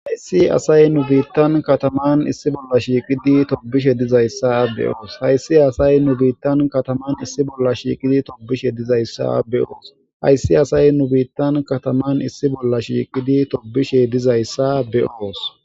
Hayssi asay nu biittan kataman issi bolla shiiqidi tobishe dizayssa be'oos. Hayssi asay nu biittan kataman issi bolla shiiqidi tobishe dizayssa be'oos hayssi asay nu biittan kataman issi bolla shiiqidi tobishe dizayssa be'oos.